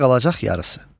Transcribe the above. Sizə qalacaq yarısı.